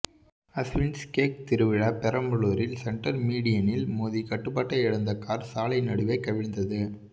Aswins cake திருவிழா பெரம்பலூரில் centre மீடியனில் மோதி கட்டுப்பாட்டை இழந்த கார் சாலை நடுவே கவிழ்ந்தது